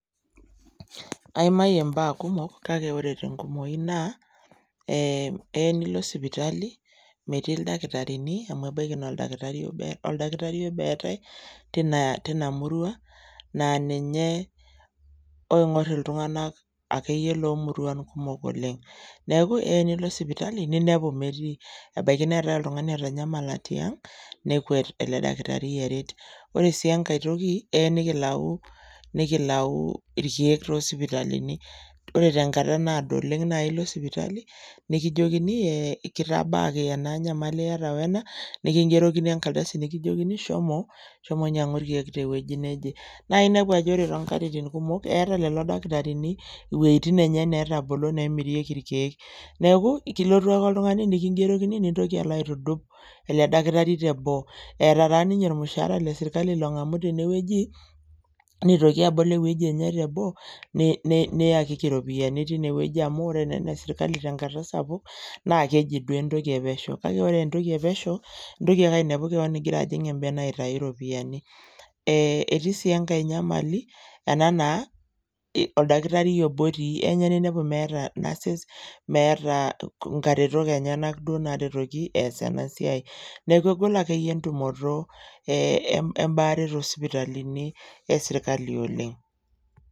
aimayie mbaa kumok kake ore te nkumoi naa ee eya nilo sipitali metii ildakitarini amu ebaiki naa oldakitari obo ee oldakitari obo eetae tina tinaa murua naa ninye oing'or iltung'anak ake yie lo muruan kumok oleng neeku eya nilo sipitali ninepu metii, ebaiki neetae oltung'ani otanyamala tiang nekwet ele dakitari aret, ore sii enkae toki eya nikilau nikilau irkeek tosipitalini, ore te nkata naado oleng naa ilo sipitali nikijokini eeh kitabaaki ena nyamali iyata wena nikingerokini enkaldsi nikijokini shomo, shomo nyang'u irkeek tewueji neje, naa inepu ajo ore toonkatitin kumok eeta lelo dakitarini iwueitin enye neetabolo neemirieki irkeek, neeku kilotu ake oltung'ani nikingerokini nintoki alo aitudup ele dakitari teboo, eeta taa ninye ormushaara le serkali long'amu teinewueji, nitoki abol ewueji enye teboo ni niyakiki ropiani tinewueji amu ore naa ene serkali te nkata sapuk naa keji duo entoki e pesho, kake ore aa entoki e pesho intoki ake ainepu kewon igira ajing embene aitayu ropiani, eeh etii sii enkae nyamali ena naa oldakitari obo otii eya ninye ninepu meeta nurses meeta nkaretok enyenak duo naretoki eas ena siai, neeku egol akeyie entumoto ee embaare to sipitalini e serkali oleng.